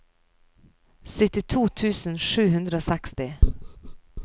syttito tusen sju hundre og seksti